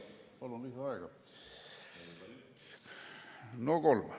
Palun lisaaega!